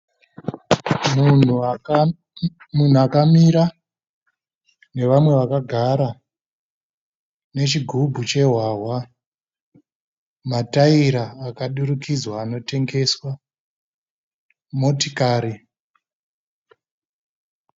Munhu akamira nevamwe vakagara nechigubhu chehwahwa. Matayira akadurikidzwa anotengeswa, motokari.